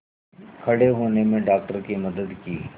मैंने खड़े होने में डॉक्टर की मदद की